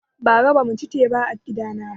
Bara bamu ci teba a gida na ba